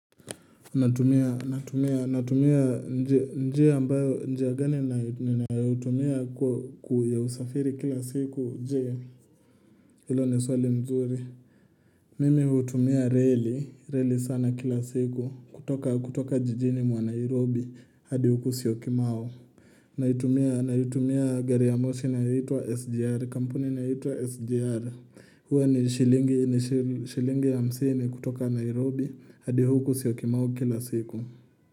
Natumia, natumia, natumia, natumia, njia ambayo, njia gani, nina utumia kuya usafiri kila siku, njia, ilo ni swali mzuri. Mimi hutumia reli, reli sana kila siku, kutoka, kutoka jijini mwa Nairobi, hadi huku siyokimao. Naitumia, naitumia gari ya moshi naitwa SGR, kampuni na hitwa SGR. Hwa ni shilingi, ni shilingi ya msini kutoka Nairobi, hadi huku siyokimao kila siku.